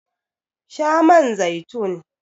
Sha man zaitun!